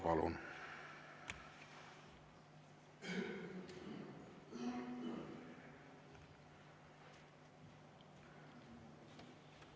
Palun!